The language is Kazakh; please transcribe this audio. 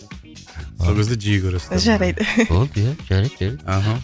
сол кезде жиі көресіздер жарайды болды иә жарайды жарайды мхм